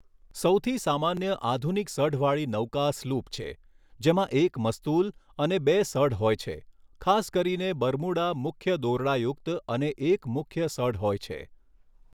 સૌથી સામાન્ય આધુનિક સઢવાળી નૌકા સ્લૂપ છે, જેમાં એક મસ્તૂલ અને બે સઢ હોય છે, ખાસ કરીને બરમુડા મુખ્ય દોરડાયુક્ત અને એક મુખ્ય સઢ હોય છે.